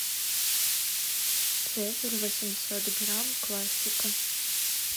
цезарь восемьсот грамм классика